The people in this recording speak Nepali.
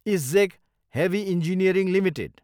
ISGEC heavy engineering Ltd